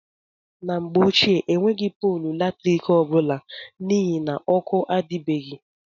N' Mgbe Ochịe Enweghi Pọọlụ Latrịkị Ọbụla N' Ihi Na Ọkụ Adibeghi.